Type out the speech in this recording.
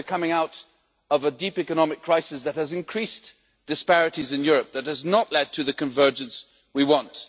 Yes, we are coming out of a deep economic crisis that has increased disparities in Europe, and that has not led to the convergence we want.